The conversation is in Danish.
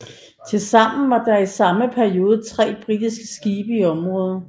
Tilsammen var der i samme periode tre britiske skibe i området